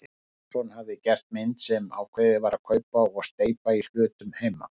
Einarsson hafi gert mynd sem ákveðið sé að kaupa og steypa í hlutum heima.